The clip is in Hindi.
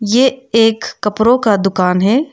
ये एक कपड़ों का दुकान है।